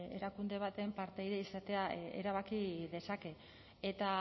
erakunde baten partaide izatea erabaki dezake eta